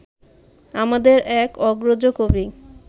আমাদের এক অগ্রজ কবি